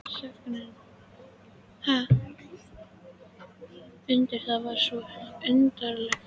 Þögnin var undarleg, það var svo undarleg þögn.